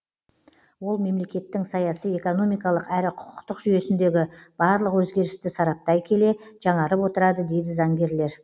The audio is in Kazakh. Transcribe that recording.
ол мемлекеттің саяси экономикалық әрі құқықтық жүйесіндегі барлық өзгерісті сараптай келе жаңарып отырады дейді заңгерлер